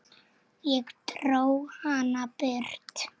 Ég dró hana burt.